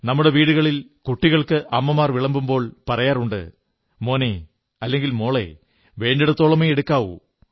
നമ്മുടെ വീടുകളിൽ കുട്ടികൾക്ക് അമ്മമാർ വിളമ്പുമ്പോൾ പറയാറുണ്ട് മോനേ അല്ലെങ്കിൽ മോളേ വേണ്ടിടത്തോളമേ എടുക്കാവൂ